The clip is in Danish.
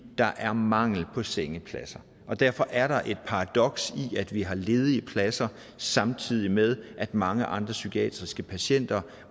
der er mangel på sengepladser derfor er der et paradoks i at vi har ledige pladser samtidig med at mange andre psykiatriske patienter